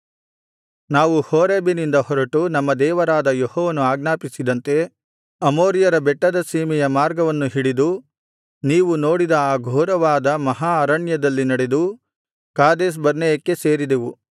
ನಾವು ಹೋರೇಬಿನಿಂದ ಹೊರಟು ನಮ್ಮ ದೇವರಾದ ಯೆಹೋವನು ಆಜ್ಞಾಪಿಸಿದಂತೆ ಅಮೋರಿಯರ ಬೆಟ್ಟದ ಸೀಮೆಯ ಮಾರ್ಗವನ್ನು ಹಿಡಿದು ನೀವು ನೋಡಿದ ಆ ಘೋರವಾದ ಮಹಾ ಅರಣ್ಯದಲ್ಲಿ ನಡೆದು ಕಾದೇಶ್‌ಬರ್ನೇಯಕ್ಕೆ ಸೇರಿದೆವು